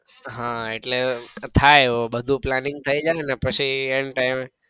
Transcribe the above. હા એટલે થાય એવું બધું planning થઇ જાય ને પછી end time એ